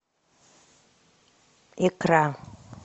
икра